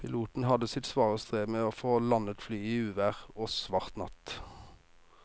Piloten hadde sitt svare strev med å få landet flyet i uvær og svart natt.